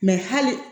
hali